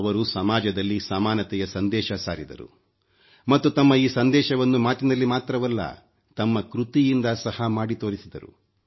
ಅವರು ಸಮಾಜದಲ್ಲಿ ಸಮಾನತೆಯ ಸಂದೇಶ ಸಾರಿದರು ಮತ್ತು ತಮ್ಮ ಈ ಸಂದೇಶವನ್ನು ಮಾತಿನಲ್ಲಿ ಮಾತ್ರವಲ್ಲ ತಮ್ಮ ಕೃತಿಯಿಂದ ಸಹ ಮಾಡಿ ತೋರಿಸಿದರು